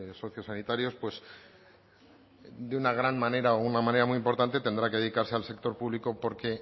sociosanitarios pues de una gran manera o una manera muy importante tendrá que dedicarse al sector público porque